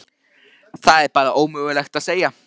Það er bara ómögulegt að segja.